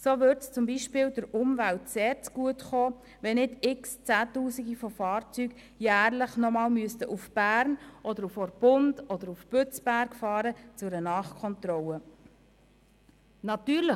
So würde es zum Beispiel der Umwelt sehr zugutekommen, wenn nicht Zehntausende von Fahrzeugen jährlich noch einmal nach Bern, Orpund oder Bützberg zu einer Nachkontrolle fahren müssten.